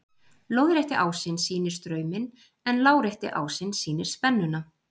Lóðrétti ásinn sýnir strauminn en lárétti ásinn sýnir spennuna.